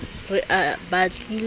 a re o batlile a